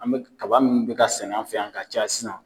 An mɛ kaba minnu bɛ ka sɛnɛ an fɛ yan ka caya sisan.